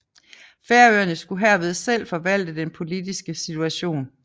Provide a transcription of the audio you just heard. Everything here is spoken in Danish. Færøerne skulle herved selv forvalte den politiske situation